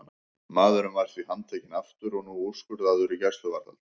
Maðurinn var því handtekinn aftur og nú úrskurðaður í gæsluvarðhald.